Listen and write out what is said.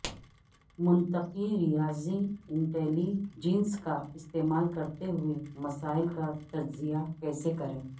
منطقی ریاضی intelligence کا استعمال کرتے ہوئے مسائل کا تجزیہ کیسے کریں